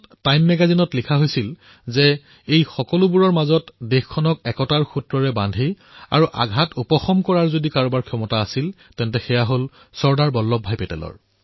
time মেগাজিনে এয়াও লিখিছিল যে এই সকলোবোৰৰ মাজত দেশক একতাৰ ডোলৰে বান্ধিবলৈ তথা এই আঘাতসমূহক যদি কোনোবাই উপশম কৰিব পাৰে তেন্তে সেয়া হল চৰ্দাৰ বল্লভ ভাই পেটেল